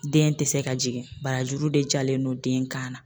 Den tɛ se ka jigin barajuru de jalen don den kan na.